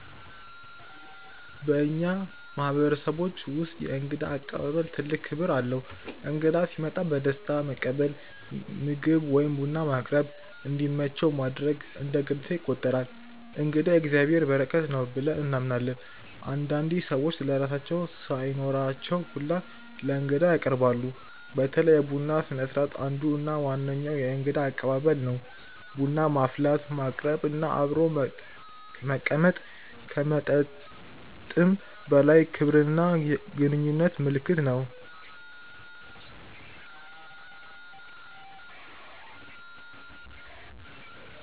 በእኛ ማህበረሰቦች ውስጥ የእንግዳ አቀባበል ትልቅ ክብር አለው። እንግዳ ሲመጣ በደስታ መቀበል፣ ምግብ ወይም ቡና ማቅረብ፣ እንዲመቸው ማድረግ እንደ ግዴታ ይቆጠራል። “እንግዳ የእግዚአብሔር በረከት ነው” ብለን እናምናለን። አንዳንዴ ሰዎች ለራሳቸው ሳይኖራቸው ሁላ ለእንግዳ ያቀርባሉ። በተለይ የቡና ስነስርዓት አንዱ እና ዋነኛው የእንግዳ አቀባበል ነው። ቡና ማፍላት፣ ማቅረብ እና አብሮ መቀመጥ ከመጠጥም በላይ የክብርና የግንኙነት ምልክት ነው።